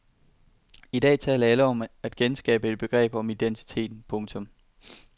I dag taler alle om at genskabe et begreb om identiteten. punktum